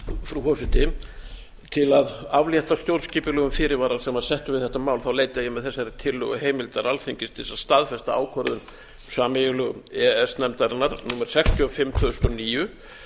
frú forseti til að aflétta stjórnskipulegum fyrirvara sem var settur við þetta mál leita ég með þessari tillögu heimildar alþingis til þess að staðfesta ákvörðun sameiginlegu e e s nefndarinnar númer sextíu og fimm tvö þúsund og níu